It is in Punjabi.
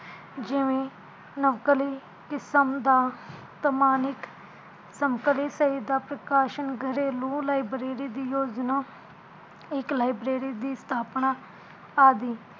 ਜਿਵੇ ਨਵਕਲੀ ਕਿਸਮ ਦਾ ਸਮਾਨਿਕ ਸਮਕਲਿਤ ਸਾਹਿਤਾ ਪ੍ਰਕਾਸ਼ਣ ਗਰੇਲੂ library ਦੀ ਯੋਜਨਾ ਇਕ library ਦੀ ਸਥਾਪਨਾ ਆਦਿ